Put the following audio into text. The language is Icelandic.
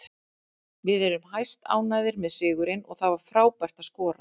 Við erum hæstánægðir með sigurinn og það var frábært að skora.